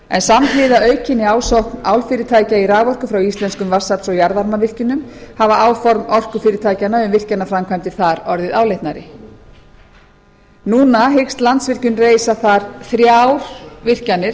en samhliða aukinni ásókn álfyrirtækja í raforku frá íslenskum vatnsafls og jarðvarmavirkjunum hafa áform orkufyrirtækjanna um virkjanaframkvæmdir þar orðið áleitnari núna hyggst landsvirkjun reisa þar þrjár virkjanir